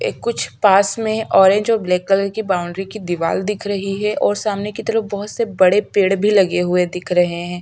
ये कुछ पास में ऑरेंज और ब्लैक कलर की बाउंड्री की दीवार दिख रही है और सामने की तरफ बहोत से बड़े पेड़ भी लगे हुए दिख रहे है।